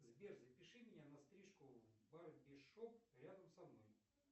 сбер запиши меня на стрижку в барбершоп рядом со мной